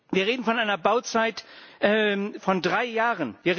Wir reden von einer Bauzeit von drei Jahren.